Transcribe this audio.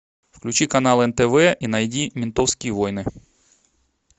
включи канал нтв и найди ментовские войны